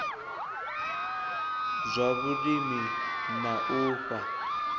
zwa vhulimi na u fha